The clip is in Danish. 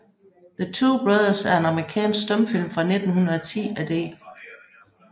The Two Brothers er en amerikansk stumfilm fra 1910 af D